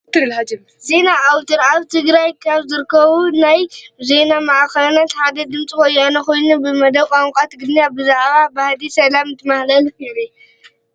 ዜና ኣውትር፡- ኣብ ትግራይ ካብ ዝርከቡ ናይ ዜና ማዕኸናት ሓደ ድምፂ ወያነ ኾይኑ ብመደብ ቋንቋ ትግርኛ ብዛዕባ ባህጊ ሰላም እንትመሓላለፍ የርኢ፡፡